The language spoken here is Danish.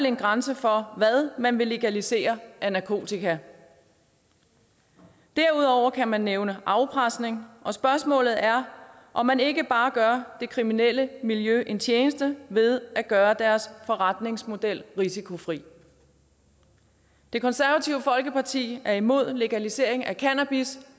en grænse for hvad man vil legalisere af narkotika derudover kan man nævne afpresning og spørgsmålet er om man ikke bare gør det kriminelle miljø en tjeneste ved at gøre deres forretningsmodel risikofri det konservative folkeparti er imod legalisering af cannabis